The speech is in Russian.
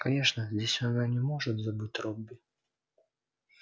конечно здесь она не может забыть робби